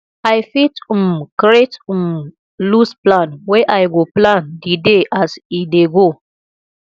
i fit um create um loose plan wey i go plan di day as e dey go